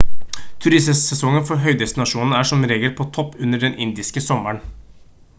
turistsesongen for høydestasjonene er som regel på topp under den indiske sommeren